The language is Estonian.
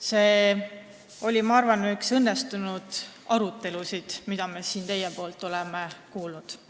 See oli, ma arvan, üks õnnestunumad arutelusid, mida me siin oleme kuulnud.